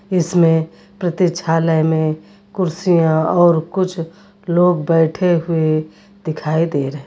इसमें प्रतीक्षालय में कुर्सियां और कुछ लोग बैठे हुए दिखाई दे रहे--